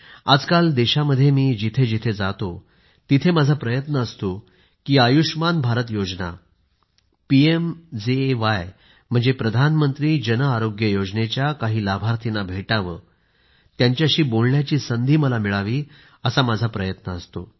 आजकाल देशामध्ये मी जिथं जिथं जातो तिथं माझा प्रयत्न असतो की आयुष्मान भारत योजना पीएम जेएवाय म्हणजेच प्रधानमंत्री जन आरोग्य योजनेच्या काही लाभार्थींना भेटावं त्यांच्याशी बोलण्याची संधी मला मिळावी असा माझा प्रयत्न असतो